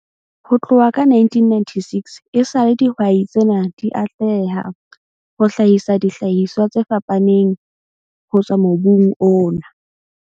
Ho tloha ka 1996 esale dihwai tsena di atleha ho hlahisa dihlahiswa tse fapaneng ho tswa mobung ona.